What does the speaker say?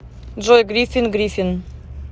джой грипин грипин